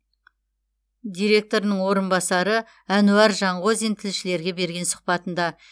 директорының орынбасары әнуар жанғозин тілшілерге берген сұхбатында